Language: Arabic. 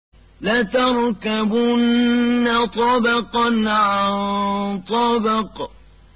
لَتَرْكَبُنَّ طَبَقًا عَن طَبَقٍ